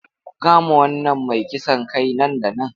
Ku kama wannan mai kisan kai nan da nan!